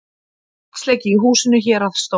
Vatnsleki í húsi héraðsdóms